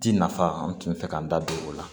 Ti nafa an tun bɛ fɛ k'an da don o la